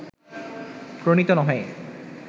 প্রণীত নহে